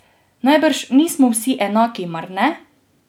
Najbrž nismo vsi enaki, mar ne?